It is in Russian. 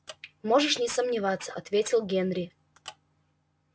можешь не сомневаться ответил генри